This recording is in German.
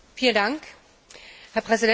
Herr Präsident, meine Damen und Herren!